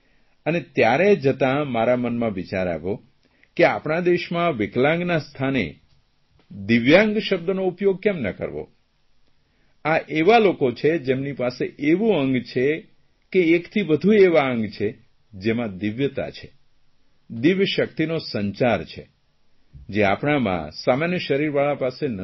અને ત્યારે જતાં મારા મનમાં વિચાર આવ્યો કે આપણા દેશમાં વિકલાંગના સ્થાને દિવ્યાંગ શબ્દનો ઉપયોગ કેમ ન કરવો આ એવા લોકો છે જેમની પાસે એવું અંગ છે કે એકથી વદુ એવાં અંગ છે જેમાં દિવ્યતા છે દિવ્ય શકિતનો સંચાર છે જે આપણામાં સામાન્ય શરીરવાળા પાસે નથી